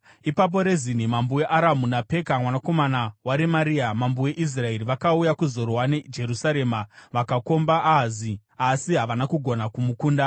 Ipapo Rezini mambo weAramu naPeka mwanakomana waRemaria mambo weIsraeri vakauya kuzorwa neJerusarema vakakomba Ahazi, asi havana kugona kumukunda.